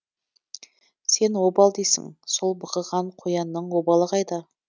сен обал дейсің сол бықыған қоянның обалы қайда